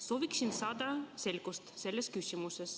Soovin saada selgust selles küsimuses.